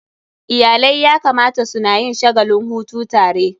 Iyalai ya kamata suna yin shagalin hutu tare.